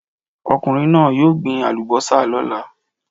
Ọkùnrin náà yóò gbin àlùbọ́sà lọ́la.